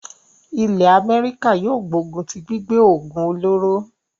ilẹ́ Améríkà yóò gbógun tí gbígbé òògùn olóró.